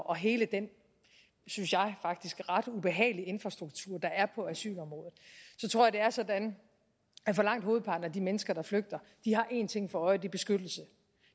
og hele den synes jeg faktisk ret ubehagelige infrastruktur der er på asylområdet at det er sådan at langt hovedparten af de mennesker der flygter har en ting for øje er beskyttelse